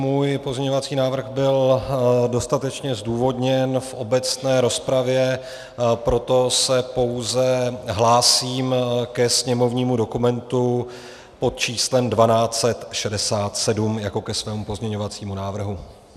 Můj pozměňovací návrh byl dostatečně zdůvodněn v obecné rozpravě, proto se pouze hlásím ke sněmovnímu dokumentu pod číslem 1267 jako ke svému pozměňovacímu návrhu.